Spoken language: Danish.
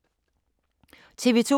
TV 2